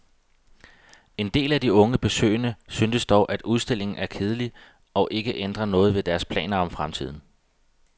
En del af de unge besøgende syntes dog, at udstillingen er kedelig og ikke ændrer noget ved deres planer for fremtiden.